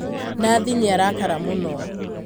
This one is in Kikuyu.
Nathi nĩarakara mũno.